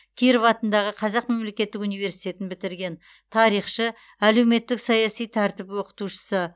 киров атындағы қазақ мемлекеттік университетін бітірген тарихшы әлеуметтік саяси тәртіп оқытушысы